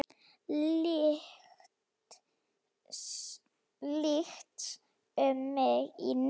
Lykst um mig í neyð.